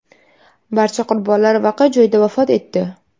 Barcha qurbonlar voqea joyida vafot etdi.